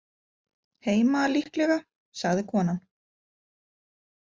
Heima líklega, sagði konan.